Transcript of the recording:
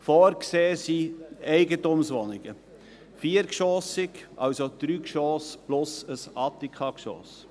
Vorgesehen sind Eigentumswohnungen, viergeschossig, das heisst 3 Geschosse plus ein Attikageschoss.